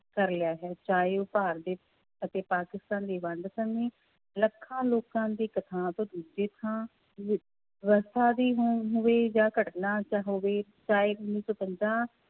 ਕਰ ਲਿਆ ਹੈ ਚਾਹੇ ਉਹ ਭਾਰਤ ਦੇ ਅਤੇ ਪਾਕਿਸਤਾਨ ਦੀ ਵੰਡ ਸਮੇਂ ਲੱਖਾਂ ਲੋਕਾਂ ਦੀ ਇੱਕ ਥਾਂ ਤੋਂ ਦੂਜੀ ਥਾਂ ਦੀ ਹੋ~ ਹੋਵੇ ਜਾਂ ਘਟਨਾ ਜਾਂ ਹੋਵੇ ਚਾਹੇ ਉੱਨੀ ਸੌ ਪੰਦਰਾਂ